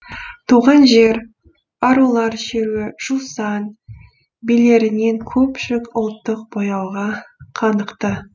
туған жер арулар шеруі жусан билерінен көпшілік ұлттық бояуға қанықты